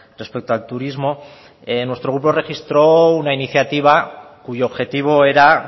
respecto al turismo nuestro grupo registró una iniciativa cuyo objetivo era